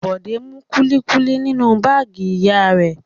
Bọ̀dé mú kúlíkúlí nínú báágì ìyá rẹ̀.